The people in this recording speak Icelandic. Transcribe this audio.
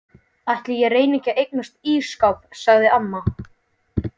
Ætli ég reyni ekki að eignast ísskáp sagði amma.